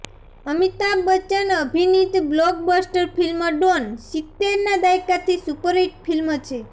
અમિતાભ બચ્ચન અભિનીત blockbuster film Don સિત્તેરના દાયકાની સુપરહિટ ફિલ્મ છે